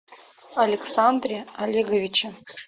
александре олеговиче